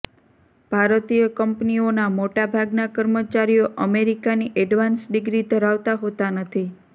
ભારતીય કંપનીઓના મોટાભાગના કર્મચારીઓ અમેરિકાની એડવાન્સ ડિગ્રી ધરાવતા હોતા નથી